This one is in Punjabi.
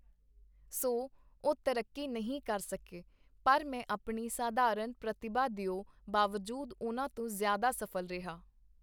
ਸੋ, ਉਹ ਤਰੱਕੀ ਨਹੀਂ ਕਰ ਸਕੇ, ਪਰ ਮੈਂ ਆਪਣੀ ਸਾਧਾਰਨ ਪ੍ਰਤਿਭਾ ਦਿਓ ਬਾਵਜੂਦ ਉਹਨਾਂ ਤੋਂ ਜ਼ਿਆਦਾ ਸਫ਼ਲ ਰਿਹਾ.